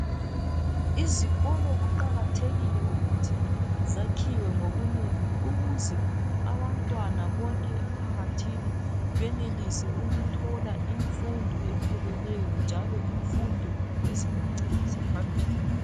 Izikolo kuqakathekile ukuthi zakhiwe ngobunengi ukuze abantwana bonke emphakathi, benelise ukuthola imfundo epheleleyo, njalo imfundo ezabancedisa phambili.